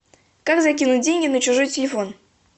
как закинуть деньги на чужой телефон